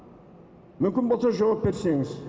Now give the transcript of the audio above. мүмкін болса жауап берсеңіз